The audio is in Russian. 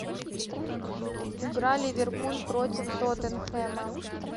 игра ливерпуль против тоттенхэма